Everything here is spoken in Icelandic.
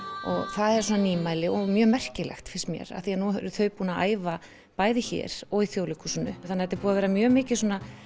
það er svona nýmæli og mjög merkilegt finnst mér af því nú eru þau búin að æfa bæði hér og í Þjóðleikhúsinu þannig að er búið að vera mjög mikið